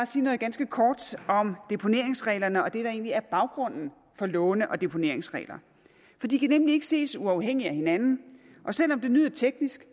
sige noget ganske kort om deponeringsreglerne og om det der egentlig er baggrunden for låne og deponeringsregler for de kan nemlig ikke ses uafhængigt af hinanden og selv om det lyder teknisk